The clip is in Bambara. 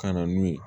Ka na n'u ye